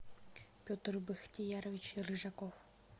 петр бахтиярович рыжаков